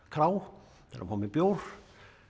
krá til að fá mér bjór